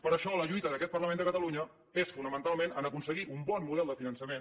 per això la lluita d’aquest parlament de catalunya és fonamentalment aconseguir un bon model de finançament